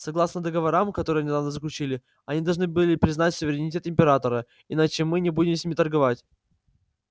согласно договорам которые недавно заключили они должны признать суверенитет императора иначе мы не будем с ними торговать